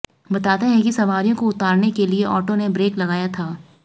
बताते हैं कि सवारियों को उतारने के लिए ऑटो ने ब्रेक लगाया था